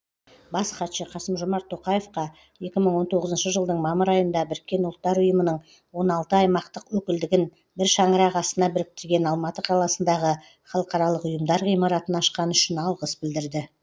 бас хатшы қасым жомарт тоқаевқа екі мың он тоғызыншы жылдың мамыр айында біріккен ұлттар ұйымының он алты аймақтық өкілдігін бір шаңырақ астына біріктірген алматы қаласындағы халықаралық ұйымдар ғимаратын ашқаны үшін алғыс білдірді